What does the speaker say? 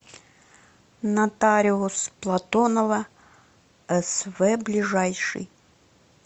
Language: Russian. нотариус платонова св ближайший